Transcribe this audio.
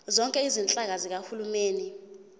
zonke izinhlaka zikahulumeni